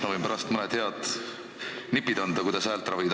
Ma võin pärast anda mõned head nipid, kuidas häält ravida.